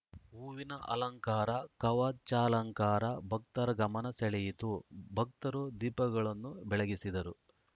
ಹೂವಿನ ಅಲಂಕಾರ ಕವಚಾಲಂಕಾರ ಭಕ್ತರ ಗಮನ ಸೆಳೆಯಿತು ಭಕ್ತರು ದೀಪಗಳನ್ನು ಬೆಳಗಿಸಿದರು